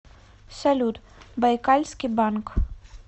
салют байкальский банк